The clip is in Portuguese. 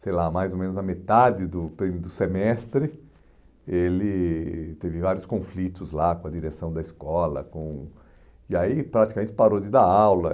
sei lá, mais ou menos a metade do perí, do semestre, ele teve vários conflitos lá com a direção da escola com, e aí praticamente parou de dar aula.